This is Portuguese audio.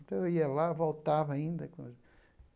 Então eu ia lá, voltava ainda.